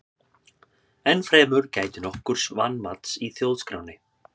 enn fremur gætir nokkurs vanmats í þjóðskránni